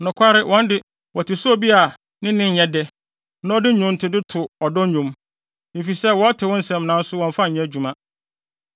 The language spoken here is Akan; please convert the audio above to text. Nokware, wɔn de, wote sɛ obi a ne nne yɛ dɛ, na ɔde nnwontode to ɔdɔ nnwom, efisɛ wɔte wo nsɛm nanso wɔmmfa nyɛ adwuma.